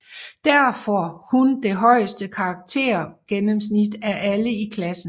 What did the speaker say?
Derfor hun det højeste karaktergennemsnit af alle i klassen